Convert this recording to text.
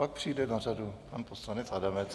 Pak přijde na řadu pan poslanec Adamec.